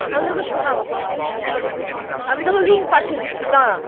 আমি তোকে শোনাবো কোনোদিন কোনোদিন। আমি তোকে link পাঠিয়ে দিচ্ছি দাঁড়া।